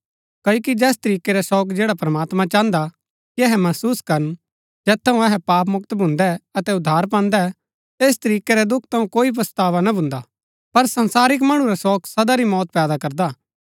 क्ओकि जैस तरीकै रा शोक जैड़ा प्रमात्मां चाहन्दा कि अहै महसुस करन जैत थऊँ अहै पाप मुक्त भून्दै अतै उद्धार पान्दै ऐस तरीकै रै दुख थऊँ कोई पछतावा ना भून्दा पर संसारिक मणु रा शोक सदा री मौत पैदा करदा